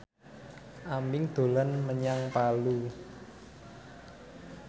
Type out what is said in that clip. Aming dolan menyang Palu